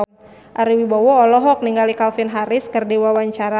Ari Wibowo olohok ningali Calvin Harris keur diwawancara